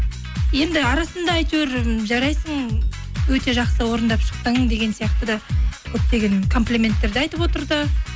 енді арасында әйтеуір м жарайсың өте жақсы орындап шықтың деген сияқты да көптеген комплименттер де айтып отырды